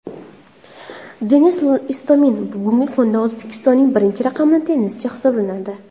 Denis Istomin bugungi kunda O‘zbekistonning birinchi raqamli tennischisi hisoblanadi.